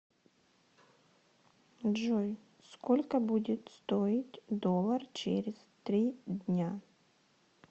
джой сколько будет стоить доллар через три дня